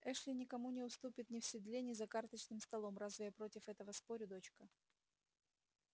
эшли никому не уступит ни в седле ни за карточным столом разве я против этого спорю дочка